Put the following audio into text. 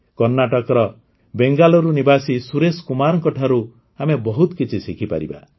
କର୍ଣ୍ଣାଟକର ବେଙ୍ଗାଲୁରୁ ନିବାସୀ ସୁରେଶ କୁମାରଙ୍କଠାରୁ ଆମେ ବହୁତ କିଛି ଶିଖିପାରିବା